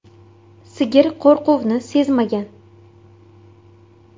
Sigir qo‘rquvni sezmagan.